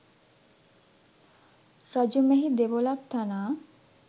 රජු මෙහි දෙවොලක් තනා